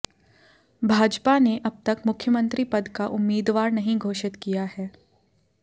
भाजपा ने अब तक मुख्यमंत्री पद का उम्मीदवार नहीं घोषित किया है